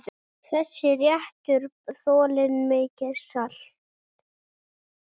Þessi réttur þolir mikið salt.